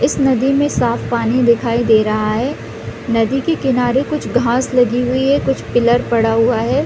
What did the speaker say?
इस नदी में साफ पानी दिखाई दे रहा है नदी के किनारे कुछ घाँस लगी हुई है कुछ पिलर पड़ा हुआ हैं।